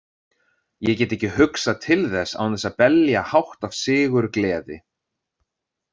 Ég get ekki hugsað til þess án þess að belja hátt af sigurgleði.